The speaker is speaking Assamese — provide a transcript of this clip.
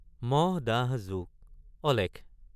মহ ডাঁহ জোক অলেখ।